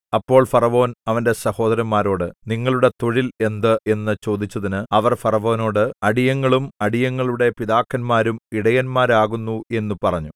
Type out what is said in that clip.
അപ്പോൾ ഫറവോൻ അവന്റെ സഹോദരന്മാരോട് നിങ്ങളുടെ തൊഴിൽ എന്ത് എന്നു ചോദിച്ചതിന് അവർ ഫറവോനോട് അടിയങ്ങളും അടിയങ്ങളുടെ പിതാക്കന്മാരും ഇടയന്മാരാകുന്നു എന്നു പറഞ്ഞു